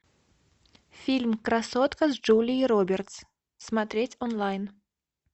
фильм красотка с джулией робертс смотреть онлайн